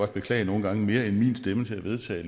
beklage nogle gange mere end min stemme til at vedtage